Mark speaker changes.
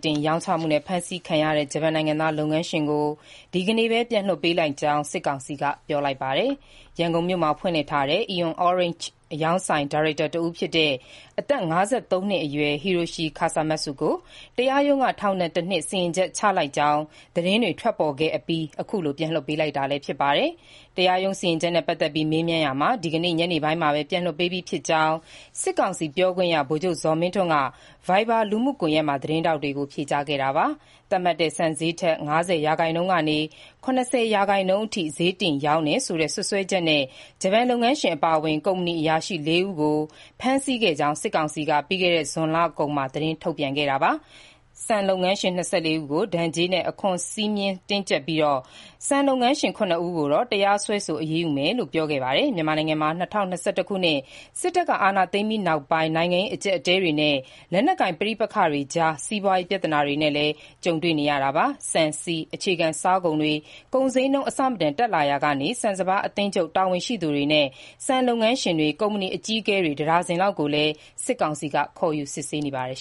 Speaker 1: တင်ရောင်းချမှုနဲ့ ဖမ်းခံရသူ ဂျပန်နိုင်ငံသား လုပ်ငန်းရှင်ကို ဒီကနေ့ပဲ ပြန်လွှတ်ပေးလိုက်ကြောင်း စစ်ကောင်စီက ပြောလိုက်ပါတယ်။ ရန်ကုန်မြို့မှာ ဖွင့်လှစ်ထားတဲ့ AEON Orange အရောင်းဆိုင် ဒါရိုက်တာ အသက် ၅၃ နှစ်အရွယ် Hiroshi Kasamatsu ကို တရားရုံးက ထောင်ဒဏ် ၁ နှစ် စီရင်ချက် ချလိုက်ကြောင်း သတင်းတွေ ထွက်ပေါ်ခဲ့အပြီး အခုလို ပြန်လွှတ်ပေးလိုက်တာ ဖြစ်ပါတယ်။ တရားရုံး စီရင်ချက်နဲ့ ပတ်သက်ပြီး မေးမြန်းရာမှာ ဒီကနေ့ ညနေပိုင်းမှာပဲ ပြန်လွှတ်ပေးပြီးဖြစ်ကြောင်း စစ်ကောင်စီ ပြောခွင့်ရ ဗိုလ်ချုပ်ဇော်မင်းထွန်းက Viber လူမှုကွန်ရက်မှာ သတင်းထောက်တွေကို ဖြေကြားခဲ့တာပါ။ သတ်မှတ်တဲ့ ဆန်ဈေးထက် ၅၀ ရာခိုင်နှုန်းကနေ ၇၀ ရာခိုင်နှုန်းအထိ ဈေးတင်ရောင်းတယ်ဆိုတဲ့ စွပ်စွဲချက်နဲ့ ဂျပန်လုပ်ငန်းရှင် အပါအဝင် ကုမ္ပဏီအရာရှိ ၄ ဦးကို ဖမ်းဆီးခဲ့ကြောင်း စစ်ကောင်စီက ပြီးခဲ့တဲ့ ဇွန်လကုန်မှာ သတင်းထုတ်ပြန်ခဲ့တာပါ။ ဆန်လုပ်ငန်းရှင် ၂၄ ဦးကို ဒဏ်ကြေးနဲ့ အခွန်စည်းမျဉ်းတင်းကျပ်ပြီး ဆန်လုပ်ငန်းရှင် ၇ ဦးကိုတော့ တရားစွဲဆိုအရေးယူမယ်လို့ ပြောခဲ့ပါတယ်။ မြန်မာနိုင်ငံမှာ ၂၀၂၁ ခုနှစ် စစ်တပ်က အာဏာသိမ်းပြီးနောက်ပိုင်း နိုင်ငံရေးအကျပ်အတည်းတွေနဲ့ လက်နက်ကိုင် ပဋိပက္ခတွေကြား စီးပွားရေး ပြဿနာတွေနဲ့လည်း ကြုံနေရတာပါ။ ဆန်၊ ဆီ အခြေခံစားကုန်တွေ ကုန်ဈေးနှုန်းအဆမတန်တက်လာရာက ဆန်စပါးအသင်းချုပ်တာဝန်ရှိသူတွေနဲ့ ဆန်လုပ်ငန်းရှင်တွေ ကုမ္ပဏီအကြီးအကဲတွေ ၁ ဒါဇင်လောက်ကိုလည်း စစ်ကောင်စီက ခေါ်ယူစစ်ဆေးခေဲ့ပါတယ်